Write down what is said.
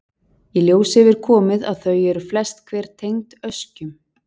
Í ljós hefur komið að þau eru flest hver tengd öskjum.